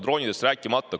Droonidest ma ei räägigi.